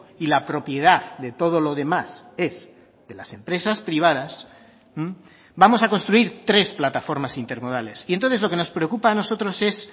y la propiedad de todo lo demás es de las empresas privadas vamos a construir tres plataformas intermodales y entonces lo que nos preocupa a nosotros es